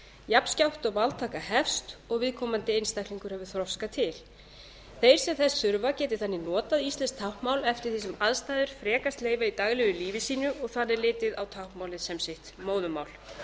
jafnskjótt og máltaka hefst og viðkomandi einstaklingur hefur þroska til þeir sem þess þurfa geti þannig notað íslenskt táknmál eftir því sem aðstæður frekast leyfa í daglegu lífi sínu og þannig litið á táknmálið sem móðurmál sitt